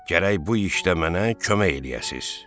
Gərək bu işdə mənə kömək eləyəsiniz.